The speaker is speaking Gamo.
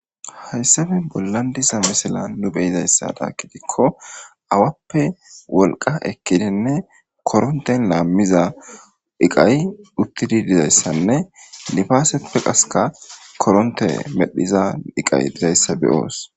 hayssafe bollan diza misila nu beyizayssada kidikko awappe wolqa ekkidenne koronten laammiza iqay uttidi dizayssanne nifaasepe qaseka koronte medhiza iqay dizayssa be'oos